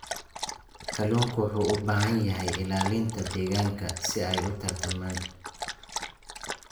Kalluunku wuxuu u baahan yahay ilaalinta deegaanka si ay u tarmaan.